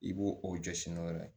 I b'o o jɔsi n'o ye